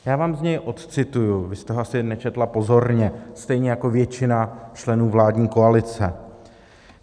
Já vám z něj odcituji, vy jste ho asi nečetla pozorně stejně jako většina členů vládní koalice.